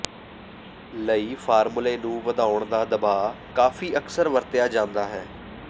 ਲਈ ਫ਼ਾਰਮੂਲੇ ਨੂੰ ਵਧਾਉਣ ਦਾ ਦਬਾਅ ਕਾਫ਼ੀ ਅਕਸਰ ਵਰਤਿਆ ਜਾਦਾ ਹੈ